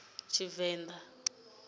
luvenḓa